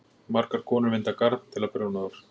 margar konur vinda garn til að prjóna úr